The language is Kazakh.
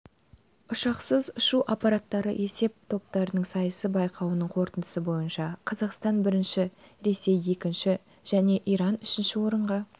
ұшқышсыз ұшу аппараттары есеп топтарының сайысы байқауының қорытындысы бойынша қазақстан бірінші ресей екінші және иран үшінші орынға